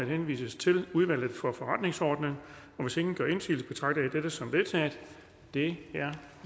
henvises til udvalget for forretningsordenen hvis ingen gør indsigelse betragter jeg dette som vedtaget det er